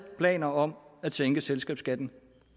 planer om at sænke selskabsskatten